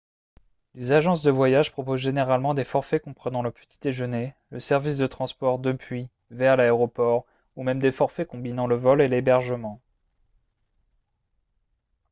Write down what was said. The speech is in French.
les agences de voyage proposent généralement des forfaits comprenant le petit déjeuner le service de transport depuis/vers l'aéroport ou même des forfaits combinant le vol et l'hébergement